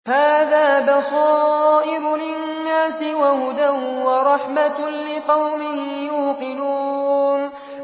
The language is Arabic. هَٰذَا بَصَائِرُ لِلنَّاسِ وَهُدًى وَرَحْمَةٌ لِّقَوْمٍ يُوقِنُونَ